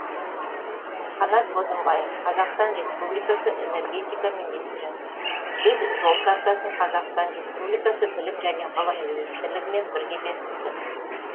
қанат бозымбаев қазақстан республикасы энергетика министрі біз жол картасын қазақстан республикасы білім және ғылым министрлігімен бірге бекіттік